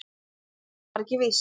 En það var ekki víst.